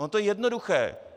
Ono to je jednoduché.